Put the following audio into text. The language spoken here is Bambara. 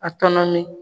A tɔnɔmi